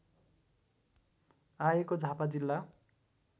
आएको झापा जिल्ला